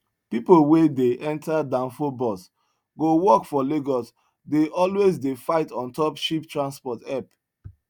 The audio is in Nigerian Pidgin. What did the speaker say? pipu wen dey enta danfo bus go work for lagos dey always dey fight ontop cheap transport help